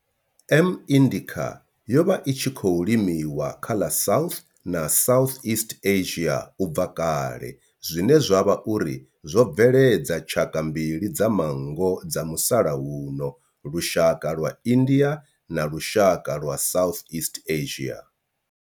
M. indica yo vha i tshi khou limiwa kha ḽa South na Southeast Asia ubva kale zwine zwa vha uri zwo bveledza tshaka mbili dza manngo dza musalauno lushaka lwa India na lushaka lwa Southeast Asia.